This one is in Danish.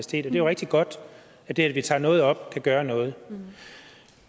det er jo rigtig godt at det at vi tager noget op kan gøre noget